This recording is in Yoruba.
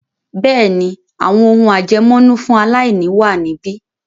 Bẹ́ẹ̀ni, “àwọn ohùn àjẹmọ́nú fún aláìní ” wà níbí.